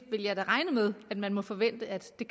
da regne med at man må forvente at det